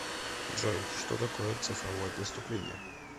джой что такое цифровое преступление